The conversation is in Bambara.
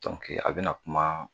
a bɛna kuma